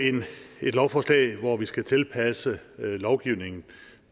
et lovforslag hvor vi skal tilpasse lovgivningen